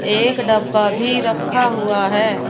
एक डब्बा भी रखा हुआ है।